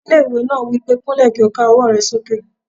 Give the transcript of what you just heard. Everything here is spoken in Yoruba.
Ọgá ilé-ìwé náà wí pé "kúnlẹ̀ kí o ká ọwọ́ rẹ sókè